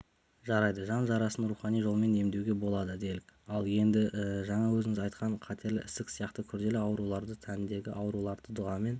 жарайды жан жарасын рухани жолмен емдеуге болады делік ал енді жаңа өзіңіз айтқан қатерлі ісік сияқты күрделі ауруларды тәндегі ауруларды дұғамен